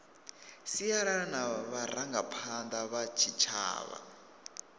sialala na vharangaphanda vha tshitshavha